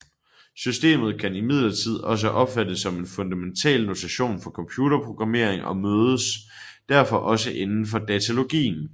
Systemet kan imidlertid også opfattes som en fundamental notation for computer programmering og mødes derfor også indenfor datalogien